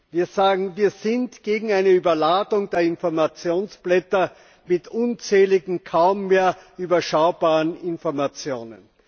Wir sagen, wir sind gegen eine Überladung der Informationsblätter mit unzähligen, kaum mehr überschaubaren Informationen.